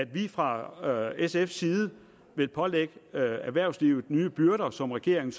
vi fra sfs side vil pålægge erhvervslivet nye byrder som regeringen